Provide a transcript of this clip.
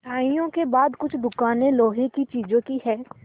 मिठाइयों के बाद कुछ दुकानें लोहे की चीज़ों की हैं